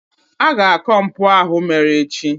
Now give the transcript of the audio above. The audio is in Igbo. a ga-akọ mpụ ahụ mere echi